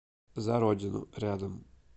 за родину рядом